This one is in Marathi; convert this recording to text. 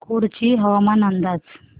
कुडची हवामान अंदाज